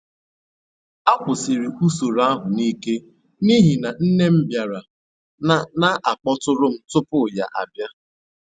A kwụsịrị usoro ahụ n’ike n’ihi na nne m bịara na na akpọtụrụ m tupu ya bịa